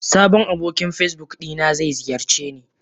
Sabon abokin Facebook dina zai ziyarceni.